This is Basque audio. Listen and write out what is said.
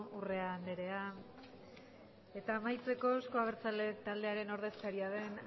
urrea andrea eta amaitzeko euzko abertzaleak taldearen ordezkaria den